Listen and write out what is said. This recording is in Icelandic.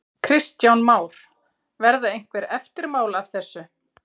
Kristján Már: Verða einhver eftirmál af þessu?